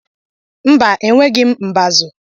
Mba, enweghị m mbazu